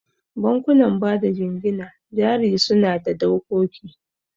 Bankunan bada jingina jari suna da dokoki.